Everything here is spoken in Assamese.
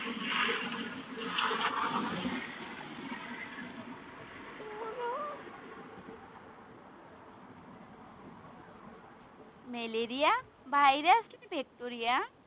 মেলেৰিয়া virus নে bacteria?